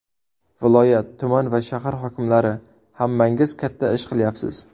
Viloyat, tuman va shahar hokimlari hammangiz katta ish qilyapsiz.